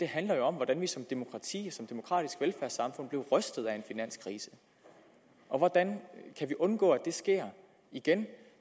handler jo om hvordan vi som demokrati og som demokratisk velfærdssamfund blev rystet af en finanskrise hvordan kan vi undgå det sker igen